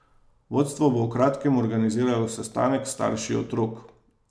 Vodstvo bo v kratkem organiziralo sestanek s starši otrok.